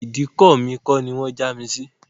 Ìdíkọ̀ mi kọ́ ni wọ́n já mi sí